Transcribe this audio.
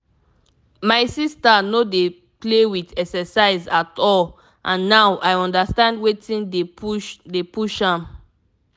my sister no dey play with exercise at all and now i understand wetin dey push dey push am.